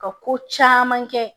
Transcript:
Ka ko caman kɛ